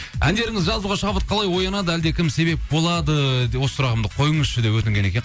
әндеріңізді жазуға шабыт қалай оянады әлде кім себеп болады осы сұрағымды қойыңызшы деп өтінген екен